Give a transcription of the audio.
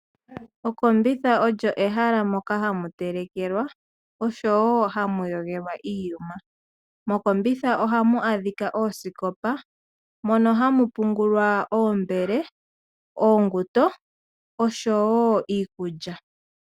Okombitha olyo ehala moka ha mu telekelwa osho woo ha mu yogelwa iiyuma. Oha mu adhika oosikopa mono ha mu pungulwa oombele, uusindo nosho woo iikulya.